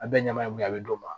A bɛ ɲaga min kɛ a bɛ d'o ma